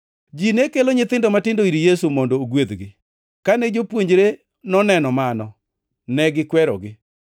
Ji ne kelo nyithindo matindo ir Yesu, mondo ogwedhgi. Kane jopuonjre noneno mano negikwerogi.